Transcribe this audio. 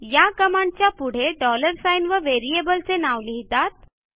या कमांडचा पुढे डॉलर साइन व व्हेरिएबलचे नाव लिहितात